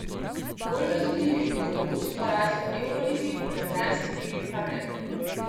Bolj razumljivi bodo mogoči porazi v evroligi, v jadranski ligi pa ne.